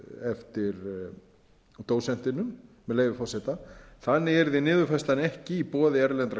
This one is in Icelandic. dósentinum með leyfi forseta þannig yrði niðurfærslan ekki í boði erlendra